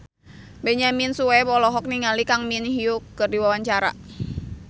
Benyamin Sueb olohok ningali Kang Min Hyuk keur diwawancara